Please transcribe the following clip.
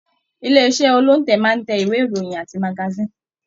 Ilé iṣẹ olóntẹ́ máa n tẹ ìwé ìròyìn àti magasin.